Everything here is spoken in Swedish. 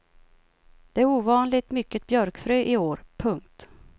Det är ovanligt mycket björkfrö i år. punkt